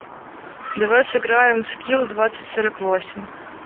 давай сыграем в скилл двадцать сорок восемь